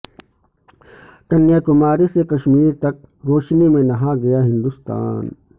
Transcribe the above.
کنیاکماری سے کشمیر تک روشنی میں نہا گیا ہندوستان